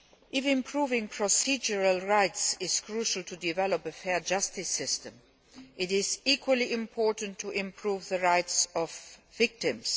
If improving procedural rights is crucial to developing a fair justice system, it is equally important to improve the rights of victims.